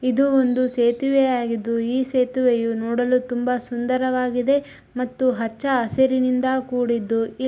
ಇದು ಒಂದು ಸೇತುವೆ ಆಗಿದ್ದು ಈ ಸೇತುವೆಯು ನೋಡಲು ತುಂಬಾ ಸುಂದರವಾಗಿದೆ ಮತ್ತು ಹಚ್ಚ ಹಸಿರಿನಿಂದ ಕೂಡಿದ್ದು --